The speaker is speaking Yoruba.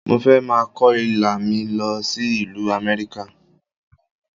Mo fẹ́ máa kó Ilá mi lọ sí ìlú Amẹ́ríkà.